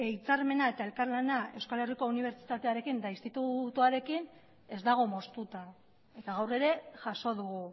hitzarmena eta elkarlana euskal herriko unibertsitatearekin eta institutoarekin ez dago moztuta eta gaur ere jaso dugu